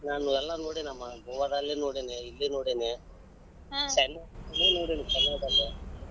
ನಾನ್ ಎಲ್ಲಾ ನೋಡಿನಮ್ಮಾ ಗೋವಾದಲ್ಲಿ ನೋಡಿನಿ ಇಲ್ಲಿ ನೋಡಿನಿ ನೋಡಿನಿ .